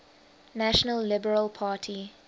national liberal party